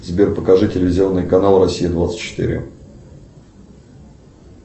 сбер покажи телевизионный канал россия двадцать четыре